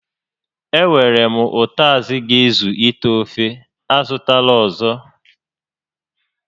E nwèrè m ụtazị ga-ezu íté ofe, a zụtala ọzọ